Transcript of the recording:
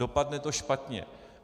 Dopadne to špatně.